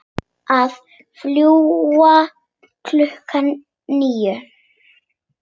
Við fljúgum klukkan níu.